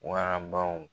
Warabaw